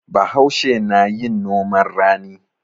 Bahaushe na yin noman rani.